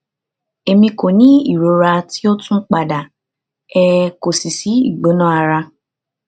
emi ko ni irora ti o tun pada um ko si si igbona ara